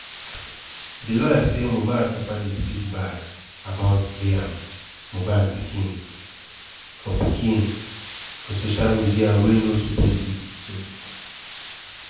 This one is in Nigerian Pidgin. di lawyer say mohbad papa dey speak bad about liam (mohbad pikin) for pikin) for social media wey no suppose be so.